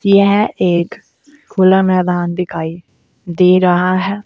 यह एक खुला मैदान दिखाई दे रहा है।